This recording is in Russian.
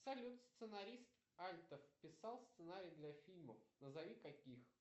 салют сценарист альтер писал сценарии для фильмов назови каких